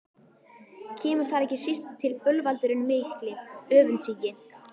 Kemur þar ekki síst til bölvaldurinn mikli, öfundsýki.